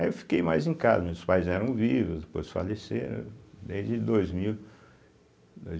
Aí eu fiquei mais em casa, meus pais eram vivos, depois faleceram, desde dois mil, dois